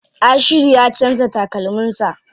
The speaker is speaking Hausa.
Ashiru ya canza takalmin sa.